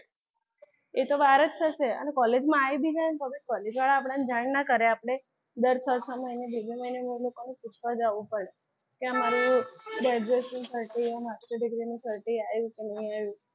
એ તો બહાર જ થશે. અને college માં આવી જાય ને તો બી college વાળા આપણને જાણ ન કરે આપડે દર છ છ મહિને બે બે મહિને પૂછવા જવું પડે. કે મારું graduation certify master degree નું certify આયુ કે નહીં આયુ?